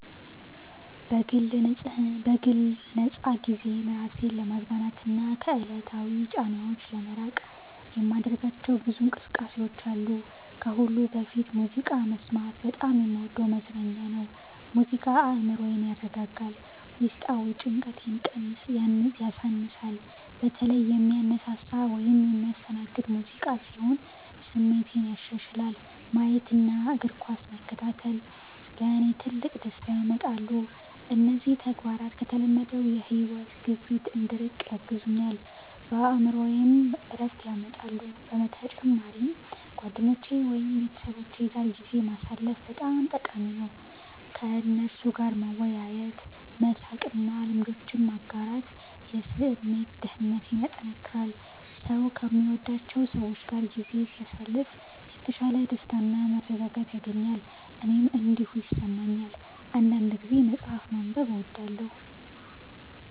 በግል ነፃ ጊዜዬ ራሴን ለማዝናናትና ከዕለታዊ ጫናዎች ለመራቅ የማደርጋቸው ብዙ እንቅስቃሴዎች አሉ። ከሁሉ በፊት ሙዚቃ መስማት በጣም የምወደው መዝናኛ ነው። ሙዚቃ አእምሮዬን ያረጋጋል፣ ውስጣዊ ጭንቀትንም ያሳንሳል። በተለይ የሚያነሳሳ ወይም የሚያስተናግድ ሙዚቃ ሲሆን ስሜቴን ያሻሽላል፣ አዲስ ኃይልም ይሰጠኛል። እንዲሁም ፊልም ማየት እና እግር ኳስ መከታተል ለእኔ ትልቅ ደስታ ያመጣሉ። እነዚህ ተግባራት ከተለመደው የሕይወት ግፊት እንድርቅ ያግዙኛል፣ በአእምሮዬም ዕረፍት ያመጣሉ። በተጨማሪም ጓደኞቼ ወይም ቤተሰቦቼ ጋር ጊዜ ማሳለፍ በጣም ጠቃሚ ነው። ከእነርሱ ጋር መወያየት፣ መሳቅ እና ልምዶችን መጋራት የስሜት ደህንነቴን ያጠናክራል። ሰው ከሚወዳቸው ሰዎች ጋር ጊዜ ሲያሳልፍ የተሻለ ደስታና መረጋጋት ያገኛል። እኔም እንዲሁ እሰማለሁ። አንዳንድ ጊዜ መጽሐፍ ማንበብ እወዳለሁ